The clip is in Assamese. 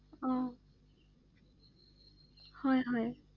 অ হয় হয়